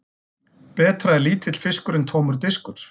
Betra er lítill fiskur en tómur diskur.